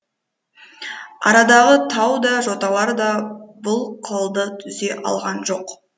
арадағы тау да жоталар да бұл қылды үзе алған жоқ